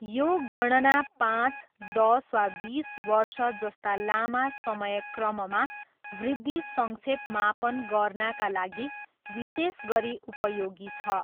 यो गणना पाँच, दस वा बिस वर्ष जस्ता लामा समय क्रममा वृद्धि सङ्क्षेप मापन गर्नाका लागि विशेष गरी उपयोगी छ।